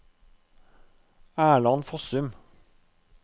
Erland Fossum